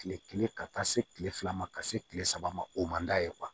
Kile kelen ka taa se kile fila ma ka se kile saba ma o man d'a ye